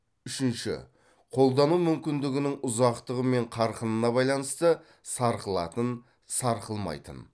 үшінші қолдану мүмкіндігінің ұзақтығы мен қарқынына байланысты сарқылатын сарқылмайтын